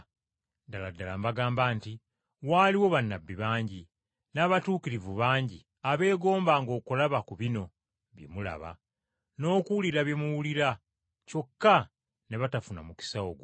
Ddala ddala mbagamba nti, Waaliwo bannabbi bangi, n’abatuukirivu bangi abeegombanga okulaba ku bino bye mulaba, n’okuwulira bye muwulira kyokka ne batafuna mukisa ogwo.